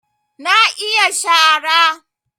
Na iya shara